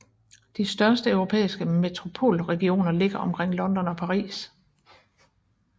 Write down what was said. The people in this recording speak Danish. De største europæiske metropolregioner ligger omkring London og Paris